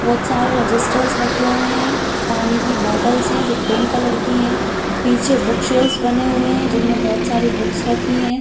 बोहत सारे रेगिस्टर्स रखे हुएं हैं पानी की बॉटल्स हैं जो पिंक कलर की हैं पीछे बुक शेल्स बने हुएं हैं जिनमें बोहत सारी बुक्स रखी हैं।